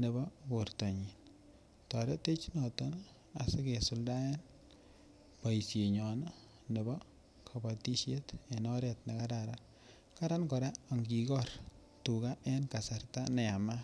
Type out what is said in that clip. nebo bortanyin toretech noton asi kisuldaen boisinyon nebo kabatisiet en oret ne kararan, kararan kora angikor tuga en kasarta ne yamat